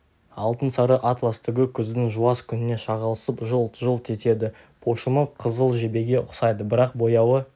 алтын сары атлас түгі күздің жуас күніне шағылысып жылт-жылт етеді пошымы қызыл жебеге ұқсайды бірақ бояуы